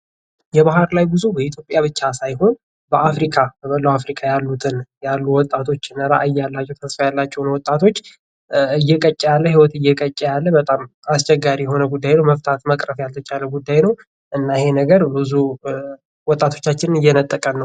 የባር ላይ ጉዞ በኢትዮጵያ ብቻ ሳይሆን በአፍሪካ በመላው አፍሪካ ያሉትን ያሉ ወጣቶችን እራያ ያላቸውን ተስፋ ያላቸውን ወጣቶች የቀጭ ያለ ህይወት እየቀጨ ያለ በጣም አስቸጋሪ የሆነ ጉዳይ ነው መፍታት መቅረፍ ያልተቻለ ጉዳይ ነው ይህ ነገር ብዙ ወጣቶቻችንን እየነጠቀ ነው ::